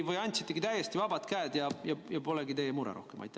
Või andsitegi täiesti vabad käed ja see polegi rohkem teie mure?